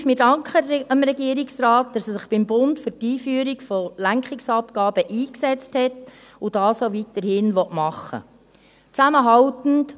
: Wir danken dem Regierungsrat, dass er sich beim Bund für die Einführung von Lenkungsabgaben eingesetzt hat und dies auch weiterhin tun will.